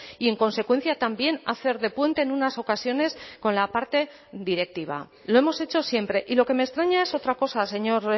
y en consecuencia también hacer de puente en unas ocasiones con la parte directiva lo hemos hecho siempre y lo que me extraña es otra cosa señor